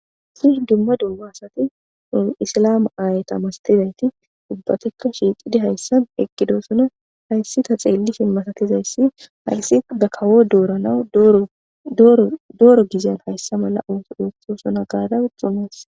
si dumma duga asati isalama aaye tamastizayti dubbatikko shiixidi hayssan ekkidoosona hayssi ta xeelli fimmasatizayssi hayssi gakawo dooranawu ddooro gizyan hayssa mala ooso dostosona gaada uxxumas